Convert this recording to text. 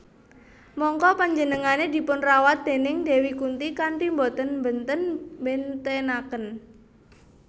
Mangka penjenengane dipunrawat déning Dewi Kunti kanthi boten mbenten bentenaken